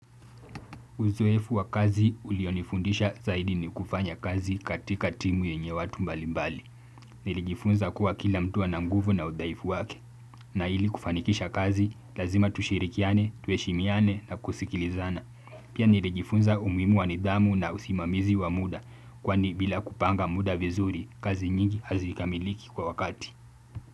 Uzoefu wa kazi ulionifundisha zaidi ni kufanya kazi katika timu yenye watu mbalimbali. Nilijifunza kuwa kila mtu ana nguvu na udhaifu wake. Na ili kufanikisha kazi, lazima tushirikiane, tuheshimiane na kusikilizana. Pia nilijifunza umuhimu wa nidhamu na usimamizi wa muda. Kwani bila kupanga muda vizuri, kazi nyingi hazikamiliki kwa wakati.